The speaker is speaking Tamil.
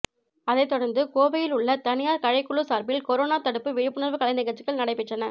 அதைத்தொடர்ந்து கோவையில் உள்ள தனியார் கலைக்குழு சார்பில் கரோனா தடுப்பு விழிப்புணர்வு கலைநிகழ்ச்சிகள் நடைபெற்றன